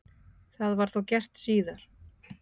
Það var þá gert síðar.